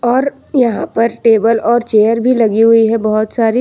और यहां पर टेबल और चेयर भी लगी हुई है बहुत सारी।